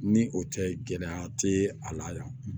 Ni o tɛ gɛlɛya tɛ a la yan